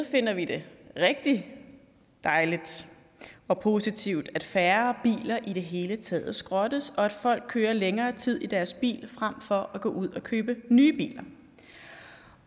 finder vi det rigtig dejligt og positivt at færre biler i det hele taget skrottes og at folk kører længere tid i deres biler frem for at gå ud og købe nye biler